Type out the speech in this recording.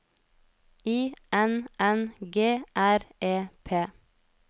I N N G R E P